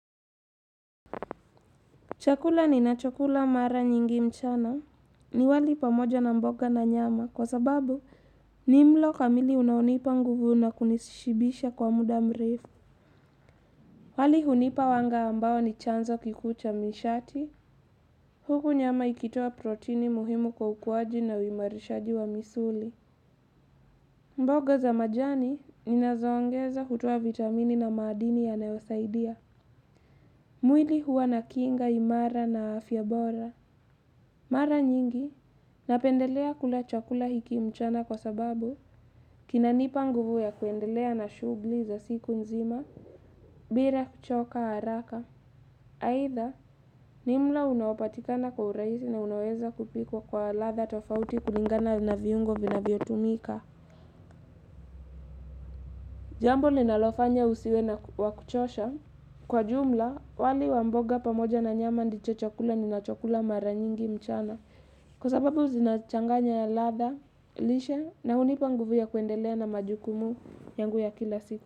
Chakula ninachokula mara nyingi mchana. Ni wali pamoja na mboga na nyama kwa sababu ni mlo kamili unaonipa nguvu na kunishibisha kwa muda mrefu. Wali hunipa wanga ambao ni chanzo kikuu cha mishati. Huku nyama ikitoa protini muhimu kwa ukuwaji na uimarishaji wa misuli. Mboga za majani ninazoongeza hutoa vitamini na madini yanasaidia. Mwili huwa na kinga imara na afya bora. Mara nyingi, napendelea kula chakula hiki mchana kwa sababu kinanipa nguvu ya kuendelea na shughuli za siku nzima. Bila kuchoka haraka. Aidha, ni mlo unaopatikana kwa urahisi na unaweza kupikwa kwa ladha tofauti kulingana na viungo vinavyotumika. Jambo ninalofanya usiwe na wakuchosha, kwa jumla, wali wa mboga pamoja na nyama ndicho chokula ninachokula mara nyingi mchana kwa sababu zinachanganya ya ladha, lishe na hunipa nguvu ya kuendelea na majukumu nyangu ya kila siku.